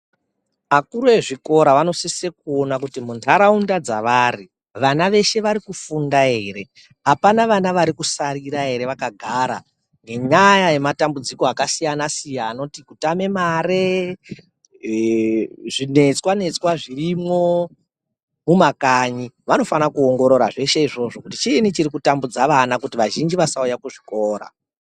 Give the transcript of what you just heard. Akuru ezvikora anosise kuona kuti muntaraunda dzavari vana veshe vari kufunda ere, apana vana varikusarira ere vakagara ngenyaya yematambudziko akasiyana-siyana anoti, kutame mare, zvinetswa netswa zvirimwo mumakanyi vanofana kuongorora zveshe izvozvo kuti chiinyi chiri kutambudza vana kuti vazhinji vasauya kuzvikora.